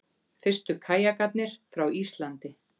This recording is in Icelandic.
Fyrstu kajakarnir frá Íslandi